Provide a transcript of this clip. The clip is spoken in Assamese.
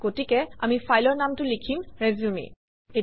গতিকে আমি ফাইলৰ নামটো লিখিম - resume